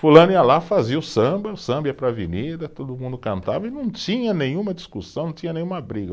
Fulano ia lá, fazia o samba, o samba ia para a avenida, todo mundo cantava e não tinha nenhuma discussão, não tinha nenhuma briga.